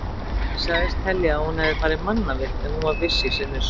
Ég sagðist telja að hún hefði farið mannavillt en hún var viss í sinni sök.